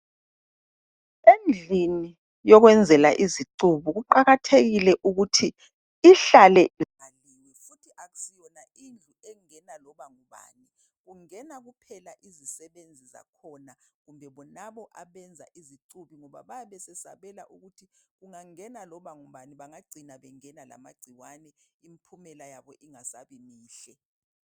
Endlini yokwenzela izicubu kuqakathekile ukuthi ihlale ivaliwe futhi akusiwoyona indlu engena loba ngubani, kungena kuphela izisebenzi zakhona kumbe bonabo abenza izicubi ngoba bayabe besabela ukuthi kungangena loba ngubani bayacina bengena lamagcikwane impumela yabo ingasebimihle.